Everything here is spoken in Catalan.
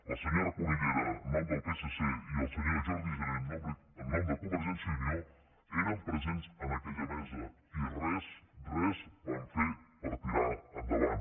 la senyora cunillera en nom del psc i el senyor jordi jané en nom de convergència i unió eren presents en aquella mesa i res res van fer per tirar ho endavant